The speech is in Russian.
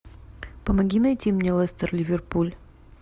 помоги найти мне лестер ливерпуль